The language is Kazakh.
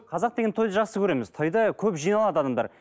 қазақ деген тойды жақсы көреміз тойда көп жиналады адамдар